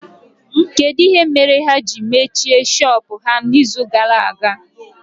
Kedụ ihe mere ha ji mechie shọpụ ha na izu gara aga?